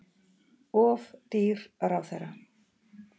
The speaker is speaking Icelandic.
Of dýr ráðherra